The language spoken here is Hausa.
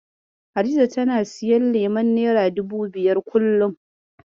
Hadiza tana siyan leman nera dubu biyar, kullum.